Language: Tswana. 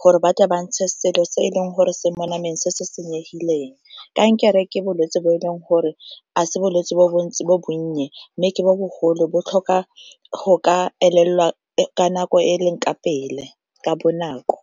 gore ba tla ba ntshe selo se e leng gore se mo nameng se se senyegileng. Kankere ke bolwetse bo e leng gore a se bolwetse bo bo ntse bo bonye mme ke bo bogolo bo tlhoka go ka elelwa ka nako e e leng ka pele ka bonako.